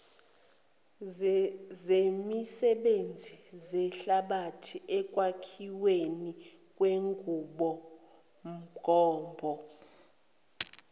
zemisebenzi zehlabathi ekwakhiwenikwenqubomgombo